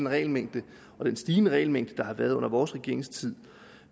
regelmængde og den stigende regelmængde der har været i vores regeringstid